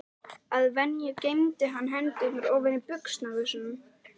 Að venju geymdi hann hendurnar ofan í buxnavösunum.